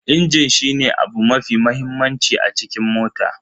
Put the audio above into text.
Injin shine abu mafi mahimmanci a cikin mota.